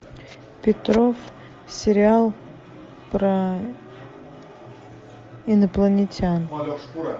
петров сериал про инопланетян